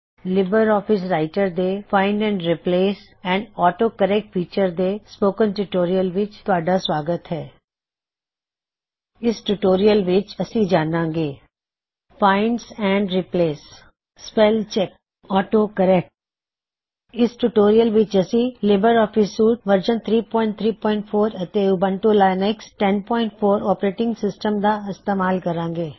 ਤੁਹਾਡਾ LibreOffice Writer ਦੇ spoken tutorial ਵਿੱਚ ਸਵਾਗਤ ਹੈ ਫਾਇਨ੍ਡ ਐਂਡ ਰਿਪ੍ਲੇਸ ਅਤੇ ਆਟੋ ਕਰੇਕ੍ਟ ਫੀਚਰਜ਼ ਦੀ ਵਰਤੋਂ ਇਸ ਟਿਊਟੋਰਿਯਲ ਵਿੱਚ ਅਸੀ ਜਾਨਾਂਗੇ find and replace spell check autocorrect ਇਸ ਟਿਊਟੋਰਿਯਲ ਵਿੱਚ ਅਸੀ LibreOffice suite LibreOffice Suite version 334 ਅਤੇ ਉਬੰਟੂ ਲਿਨਕਸ 1004 ੳਪਰੇਟਿੰਗ ਸਿਸਟਮ ਦਾ ਇਸਤੇਮਾਲ ਕਰਾਂਗੇ